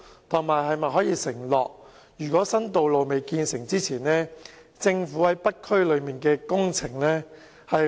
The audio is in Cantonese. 政府又能否承諾在新道路建成前，略為減慢在北區進行的工程？